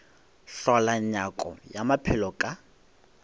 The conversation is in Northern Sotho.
hlola nyako ya maphelo ka